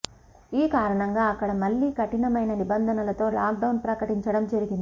ఈ కారణంగా అక్కడ మళ్ళీ కఠినమైన నిబంధనలతో లాక్ డౌన్ ప్రకటించడం జరిగింది